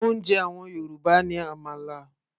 oúnjẹ àwọn Yorùbá ní àmàlà